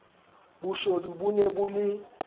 boshodu bo ne bo le